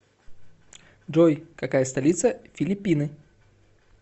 джой какая столица филиппины